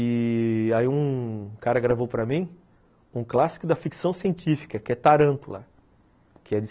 E... aí um cara gravou para mim um clássico da ficção científica, que é Tarântula, que é de